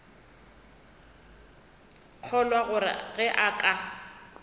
kgolwa gore ge a ka